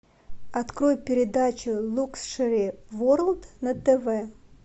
открой передачу лукшери ворлд на тв